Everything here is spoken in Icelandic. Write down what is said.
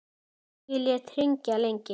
Ég lét hringja lengi.